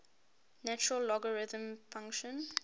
natural logarithm function